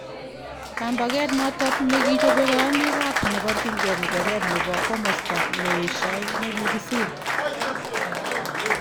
Kaambakeet noto nekichobee kayaaniik ab neparchinkee ng'echeret nebo komosta neyeshaa nekikisiir.